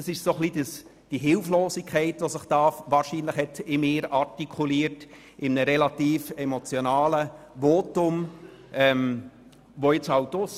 Es ist wahrscheinlich diese Hilflosigkeit in mir, die sich in einem relativ emotionalen Votum artikuliert hat.